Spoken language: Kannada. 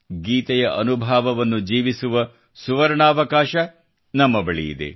ಗೀತೆಯ ಅನುಭಾವವನ್ನು ಜೀವಿಸುವ ಸುವರ್ಣಾವಕಾಶ ನಮ್ಮ ಬಳಿಯಿದೆ